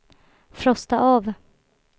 frosta av